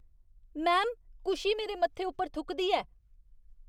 Ma'am, Kushi मेरे मत्थे उप्पर थुकदी ऐ।